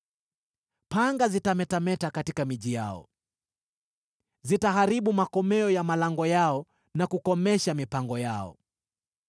Panga zitametameta katika miji yao, zitaharibu makomeo ya malango yao na kukomesha mipango yao.